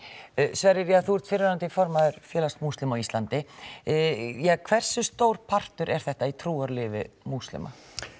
Sverrir þú ert fyrrverandi formaður félags múslima á íslandi hversu stór partur er þetta af trúarlífi múslima